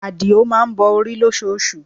Adio má ń bọ orí lóṣoosù